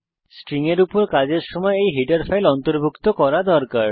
string ফাংশনের উপর কাজ করার সময় এই হেডার ফাইল অন্তর্ভুক্ত করা উচিত